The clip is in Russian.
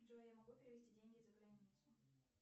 джой я могу перевести деньги за границу